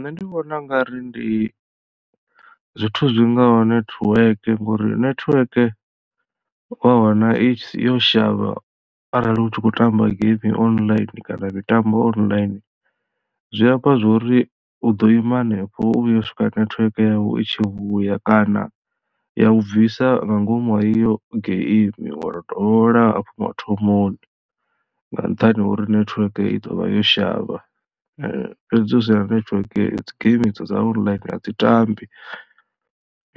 Nṋe ndi vhona ungari ndi zwithu zwi ngaho network ngori network wa wana itshi yo shavha arali u tshi khou tamba game online kana mitambo online zwi amba zwori u ḓo ima hanefho u vhuya u swika network yavho i tshi vhuya kana ya u bvisa nga ngomu ha iyo geimi wa to dovholola hafhu mathomoni nga nṱhani hori netiweke i ḓo vha yo shavha. Fhedzi hu si na netiweke dzi games dza online a dzi tambi